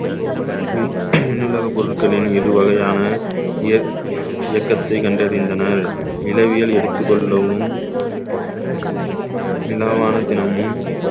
நூ~ நூலக பொருட்களின் இரு வகையான இயக்~ இயக்கத்தை கண்டறிந்தனர் நிலவியல் எடுத்துக் கொள்ளவும் விழாவான தினமும்